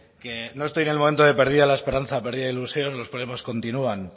quiere que no estoy en el momento de perdida la esperanza o perdida la ilusión los problemas continúan